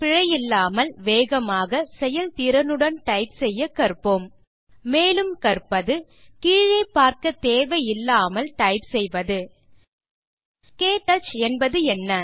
பிழையில்லாமல் வேகமாக செயல்திறனுடன் டைப் செய்ய கற்போம் மேலும் கற்பது கீழே பார்க்க தேவையில்லாமல் டைப் செய்வது க்டச் என்பதென்ன